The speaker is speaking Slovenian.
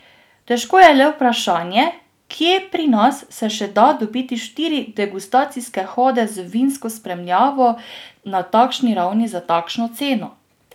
Težko je le vprašanje, kje pri nas se še da dobiti štiri degustacijske hode z vinsko spremljavo na takšni ravni za takšno ceno!